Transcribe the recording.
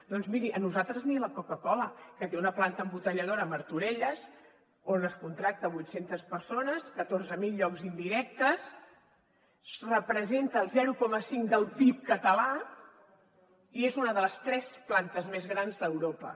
doncs miri a nosaltres ni la coca cola que té una planta embotelladora a martorelles on es contracta a vuit centes persones catorze mil llocs indirectes representa el zero coma cinc del pib català i és una de les tres plantes més grans d’europa